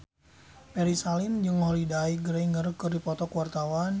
Ferry Salim jeung Holliday Grainger keur dipoto ku wartawan